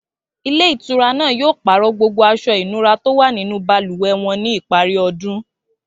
Ilé ìtura náà yóò pàrọ̀ gbogbo aṣọ ìnura tó wà nínú balùwẹ̀ wọn ní ìparí ọdún